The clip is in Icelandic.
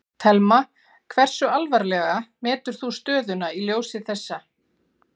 Telma: Hversu alvarlega metur þú stöðuna í ljósi þessa?